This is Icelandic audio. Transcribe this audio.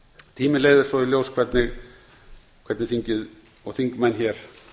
tíminn leiðir svo í ljós hvernig þingið og þingmenn hér